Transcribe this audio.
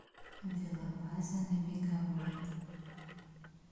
велобаза на беговой